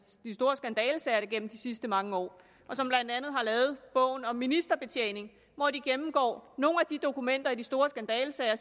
store skandalesager gennem de sidste mange år og som blandt andet har lavet bogen om ministerbetjening hvor de gennemgår nogle af de dokumenter i de store skandalesager og